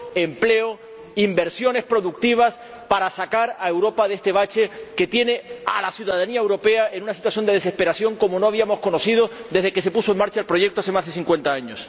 empleo, inversiones productivas para sacar a Europa de este bache que tiene a la ciudadanía europea en una situación de desesperación como no habíamos conocido desde que se puso en marcha el proyecto hace más de cincuenta años.